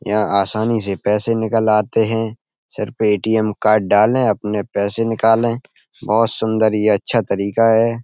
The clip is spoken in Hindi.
यहाँ आसानी से पैसे निकल आते हैं। सिर्फ ए.टी.एम. कार्ड डालें अपने पैसे निकालें। बहुत सुंदर ये अच्छा तरीका है।